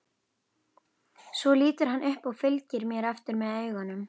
Svo lítur hann upp og fylgir mér eftir með augunum.